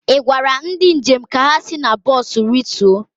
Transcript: ị gwara ndị njem ka ha si na bọs rituo?